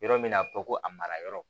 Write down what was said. Yɔrɔ min na a bɛ fɔ ko a mara yɔrɔ